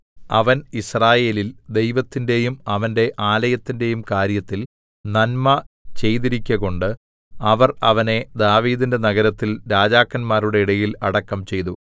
അവൻ യിസ്രായേലിൽ ദൈവത്തിന്റെയും അവന്റെ ആലയത്തിന്റെയും കാര്യത്തിൽ നന്മ ചെയ്തിരിക്കകൊണ്ട് അവർ അവനെ ദാവീദിന്റെ നഗരത്തിൽ രാജാക്കന്മാരുടെ ഇടയിൽ അടക്കം ചെയ്തു